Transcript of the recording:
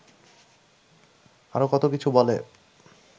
আরও কত কিছু বলে